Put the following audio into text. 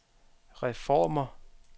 reformer